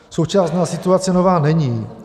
Současná situace nová není.